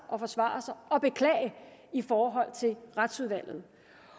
og forsvare sig og beklage i forhold til retsudvalget